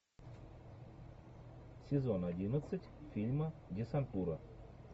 сезон одиннадцать фильма десантура